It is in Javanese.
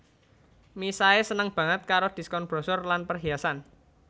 Misae seneng baget karo diskon brosur lan perhiasan